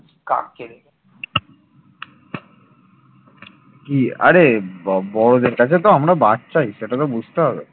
কি আরে বড়দের কাছে তো আমরা বাচ্চাই সেটা তো বুঝতে হবে